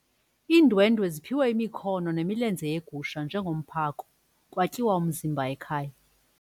Iindwendwe ziphiwe imikhono nemilenze yegusha njengomphako kwatyiwa umzimba ekhaya.